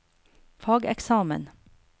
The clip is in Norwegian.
fageksamen